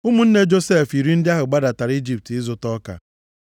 Ụmụnne Josef iri ndị ahụ gbadara Ijipt ịzụta ọka.